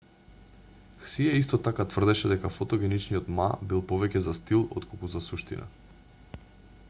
хсие исто така тврдеше дека фотогеничниот ма бил повеќе за стил отколку за суштина